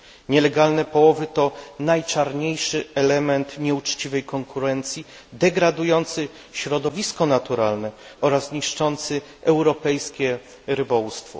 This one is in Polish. Nielegalne połowy to najczarniejszy element nieuczciwej konkurencji, degradujący środowisko naturalne oraz niszczący europejskie rybołówstwo.